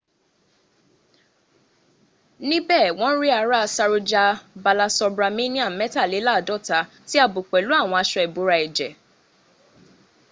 níbè wọn rí ará saroja balasubramanian métàlẹ́làáadọ́ta tí a bò pèlú àwọn aṣo ìbora ẹ̀jẹ